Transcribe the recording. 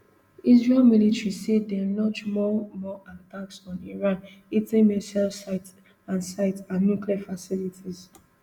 israel military say dem launch more more attacks on iran hitting missile sites and sites and nuclear facilities